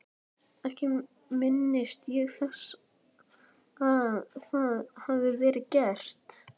Ekki minnist ég þess að það hafi verið gert.